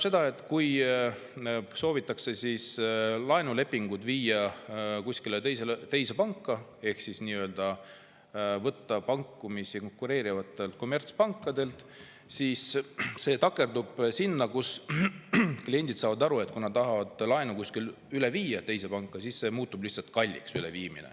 Kui soovitakse laenulepingut viia teise panka ehk võtta pakkumisi konkureerivatelt kommertspankadelt, siis see takerdub selle taha, et kliendid saavad aru, et kui nad tahavad laenu viia üle teise panka, siis see üleviimine on väga kallis.